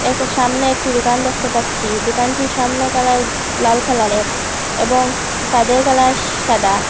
এক সামনে একটি দোকান দেখতে পাচ্ছি দোকানটির সামনে কালার লাল কালারের এবং সাদের কালার সাদা।